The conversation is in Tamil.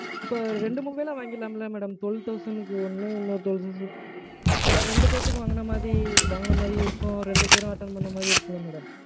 இப்போ ரெண்டு mobile ஆ வாங்கிர்லாம்ல madam? Twelve thousand க்கு ஒன்னு, இன்னொரு twelve thousand. ரெண்டு பேர்த்துக்கும் வாங்குன மாரி, வாங்குன மாரியும் இருக்கும், ரெண்டு பேரும் attend பண்ண மாரியும் இருக்கும்ல madam?